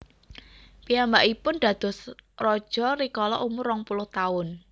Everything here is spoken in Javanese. Piyambakipun dados raja rikala umur rong puluh taun